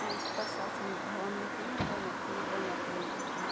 एैंच प्रशासनिक भवन लिखीं अर वेमा पील रंगा क पेंट ह्वीं।